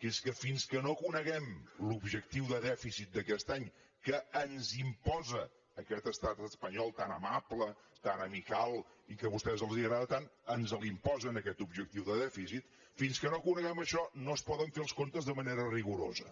que és que fins que no coneguem l’objectiu de dèficit d’aquest any que ens imposa aquest estat espanyol tan amable tan amical i que a vostès els agrada tant ens l’imposen aquest objectiu de dèficit fins que no coneguem això no es poden fer els comptes de manera rigorosa